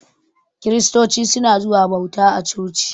Kiristoci suna zuwa bauta a coci.